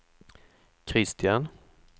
Kristian